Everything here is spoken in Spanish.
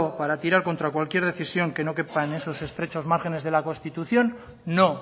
para tirar contra cualquier decisión que no quepa en esos estrechos márgenes de la constitución no